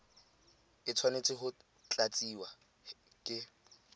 e tshwanetse go tlatsiwa ke